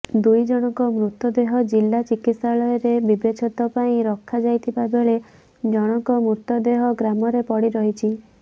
ଦୁଇ ଜଣଙ୍କ ମୃତଦେହ ଜିଲା ଚିକିତ୍ସାଳୟରେ ବ୍ୟବଛେଦ ପାଇଁ ରଖା ଯାଇଥିବା ବେଳେ ଜଣଙ୍କ ମୃତଦେହ ଗ୍ରାମରେ ପଡ଼ିରହିଛି